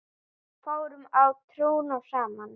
Fórum á trúnó saman.